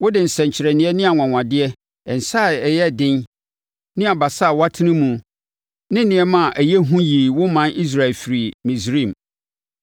Wode nsɛnkyerɛnneɛ ne anwanwadeɛ, nsa a ɛyɛ den ne abasa a watene mu ne nneɛma ɛyɛ hu yii wo ɔman Israel firii Misraim.